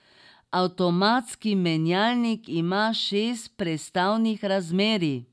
Avtomatski menjalnik ima šest prestavnih razmerij.